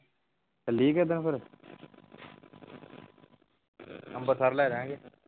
ਚੱਲੀਏ ਕਿਸੇ ਦਿਨ ਫੇਰ ਅੰਬਰਸਰ ਲੈ ਜਾਵਾਂਗੇ